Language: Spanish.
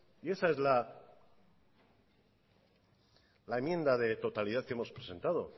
y esa es la enmienda de totalidad que hemos presentado